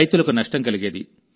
రైతులకు నష్టం కలిగేది